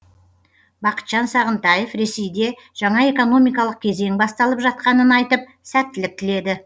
бақытжан сағынтаев ресейде жаңа экономикалық кезең басталып жатқанын айтып сәттілік тіледі